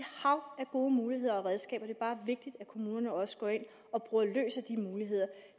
hav af gode muligheder og redskaber det er vigtigt at kommunerne også går ind og bruger løs af de muligheder